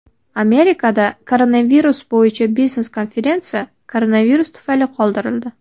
Amerikada koronavirus bo‘yicha biznes-konferensiya koronavirus tufayli qoldirildi.